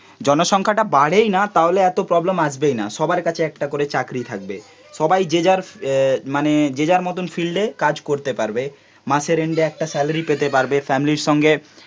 জনসংখ্যাটা বাড়েই না তাহলে এত প্রবলেম আসবেই না, সবার কাছে একটা করে চাকরি থাকবে, সবাই যে যার এ মানে যে যার মতন ফিল্ডে কাজ করতে পারবে, মাসের এন্ডে একটা স্যালারি পেতে পারবে, ফ্যামিলির সঙ্গে